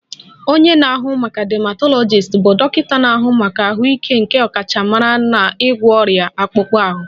Onye na-ahụ maka dermatologist bụ dọkịta na-ahụ maka ahụike nke ọkachamara n'ịgwọ ọrịa akpụkpọ ahụ